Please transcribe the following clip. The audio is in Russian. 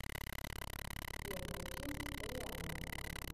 первая часть рианна